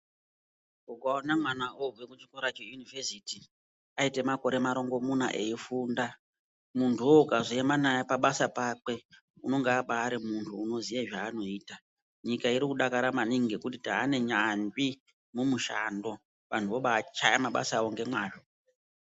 Ukaone mwana once kuchikora cheyunivhesiti aite makore marongomuna veifunda muntuwo ukazoema naye pabasa pakwe unonga abari muntu unoziya zvanoita. Nyika irikudakara maningi ngekuti tane nyanzvi mumushando. Vanto vobachaye mabasa avo ngemwazvo.